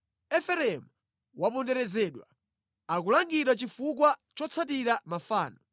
Efereimu waponderezedwa, akulangidwa chifukwa chotsatira mafano.